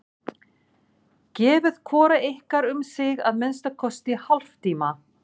Gefið hvoru ykkar um sig að minnsta kosti hálftíma.